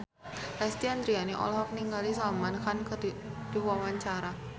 Lesti Andryani olohok ningali Salman Khan keur diwawancara